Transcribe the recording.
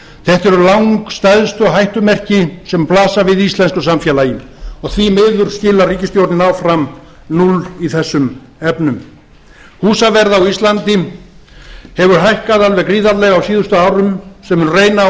þetta eru langstærstu hættumerki sem blasa við íslensku samfélagi og því miður skilar ríkisstjórnin áfram núlli í þessum efnum húsaverð á íslandi hefur hækkað alveg gríðarlega á síðustu árum sem mun reyna á